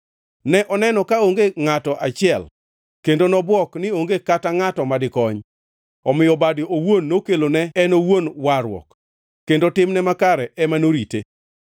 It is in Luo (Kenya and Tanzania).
Ne oneno kaonge ngʼato kata achiel, kendo nobwok ni onge kata ngʼato madikony; omiyo bade owuon nokelone en owuon warruok kendo timne makare ema norite.